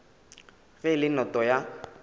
ge e le noto ya